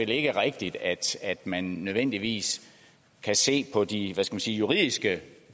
ikke rigtigt at man nødvendigvis kan se på de juridiske